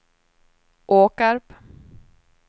Åkarp